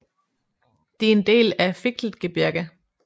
De er en del af Fichtelgebirge